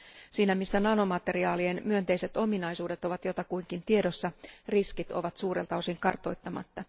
Siinä missä nanomateriaalien myönteiset ominaisuudet ovat jotakuinkin tiedossa, riskit ovat suurelta osalta kartoittamatta.